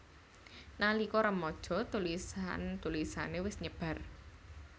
Nalika remaja tulisan tulisané wis nyebar